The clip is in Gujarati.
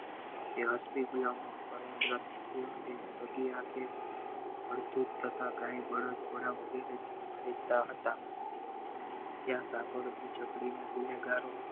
તે અસલી ગુલામ નો અડધું થતા કાય બળદ ઘોડા વગેરે તા હતા ત્યા ગુનેગારો